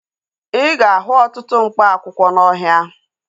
Ị ga-ahụ ọtụtụ mkpa akwụkwọ n'ọhịa